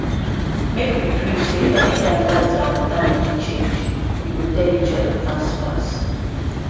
make we gree say anytime light and water money change we go tell each other fast fast